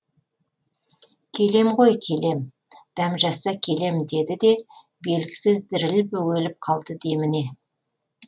келем ғой келем дәм жазса келем деді де белгісіз діріл бөгеліп қалды деміне